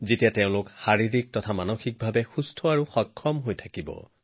কিন্তু যুৱকযুৱতীসকল সুস্থ হলেহে লাভৱান হব